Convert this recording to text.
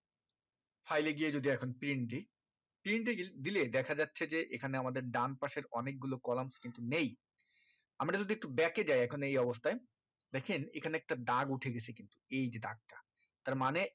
file এ গিয়ে যদি এখন print দি print গি~দিলে দেখা যাচ্ছে যে এখানে আমাদের ডান পাশের অনেক গুলো columns কিন্তু নেই আমি যদি একটু back এ যাই এখন এই অবস্থায় দেখছেন এখানে একটা দাগ উঠে গিছে কিন্তু এই দাগটা তার মানে